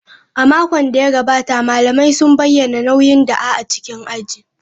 A makon da ya gabata, malamai sun bayyana nauyin da'a a cikin aji.